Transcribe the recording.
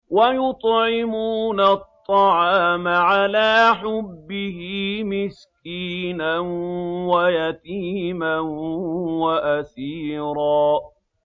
وَيُطْعِمُونَ الطَّعَامَ عَلَىٰ حُبِّهِ مِسْكِينًا وَيَتِيمًا وَأَسِيرًا